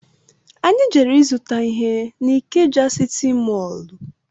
Anyị jere izuta ihe na Ikeja sịtị mọlụ